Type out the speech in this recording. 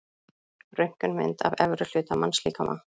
Röntgenmynd af efri hluta mannslíkama.